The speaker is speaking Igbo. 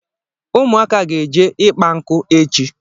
Ụmụaka ga-eje ịkpa nkụ echi